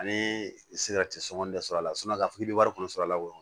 Ani se ka sɔngɔ de sɔrɔ a la i bɛ wari kɔni sɔrɔ a la o